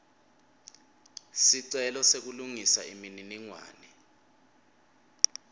sicelo sekulungisa imininingwane